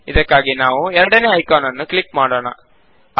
ಇದಕ್ಕಾಗಿ ನಾವು ಎರಡನೇ ಐಕಾನ್ ನನ್ನು ಕ್ಲಿಕ್ ಮಾಡೋಣ